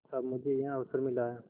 अब मुझे यह अवसर मिला है